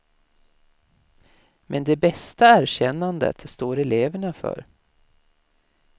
Men det bästa erkännandet står eleverna för.